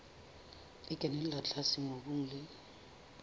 e kenella tlase mobung le